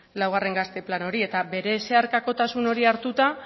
laugarren gazte plana hori eta bere zeharkakotasun horiek hartuta